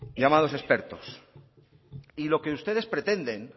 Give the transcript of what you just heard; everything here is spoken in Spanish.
llamados expertos y lo que ustedes pretenden